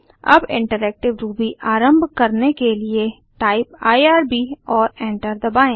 अब interactive Ruby आरम्भ करने के लिए टाइप आईआरबी और एंटर दबाएँ